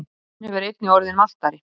Glansinn hefur einnig orðið mattari.